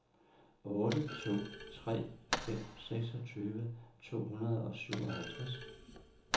otte to tre fem seksogtyve to hundrede og syvoghalvtreds